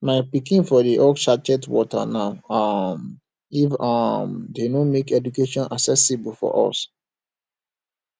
my pikin for dey hawk sachet water now um if um dey no make education accessible for us